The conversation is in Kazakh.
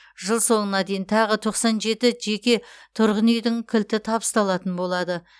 жыл соңына дейін тағы тоқсан жеті жеке тұрғын үйдің кілті табысталатын болады